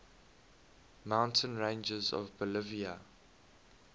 mountain ranges of bolivia